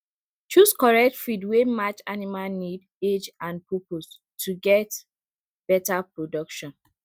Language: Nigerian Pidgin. choose correct feed wey match animal need age and purpose to get better production